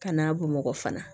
Kana bamakɔ fana